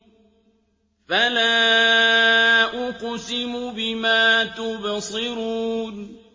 فَلَا أُقْسِمُ بِمَا تُبْصِرُونَ